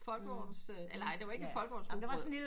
Folkevogns eller ej det var ikke folkevognsrugbrød